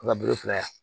An ka bolo fila ye